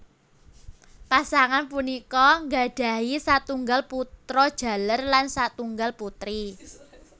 Pasangan punika nggadhahi satunggal putra jaler lan satunggal putri